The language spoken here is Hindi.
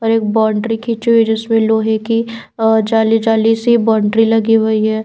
और एक बाउंड्री खींची हुई है जिसमें लोहे की अ जाली-जाली सी बाउंड्री लगी हुई है।